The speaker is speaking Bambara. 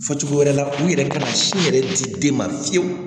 Fɔ cogo wɛrɛ la u yɛrɛ ka sin yɛrɛ di den ma fiyewu